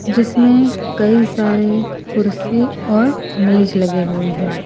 जिसमें कई सारे कुर्सी और मेज लगे हुए है।